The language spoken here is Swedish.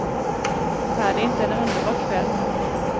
Är det inte en underbar kväll.